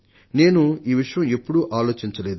నేను ఈ విషయం ఎప్పుడూ ఆలోచించలేదు